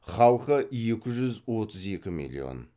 халқы екі жүз отыз екі миллион